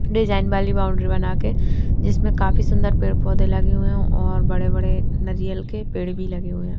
Design वाली boundary बना के जिसमें काफी सूंदर पेड़-पौधे लगे हुए हैं और बड़े-बड़े नारियल के पेड़ भी लगे हुए हैं।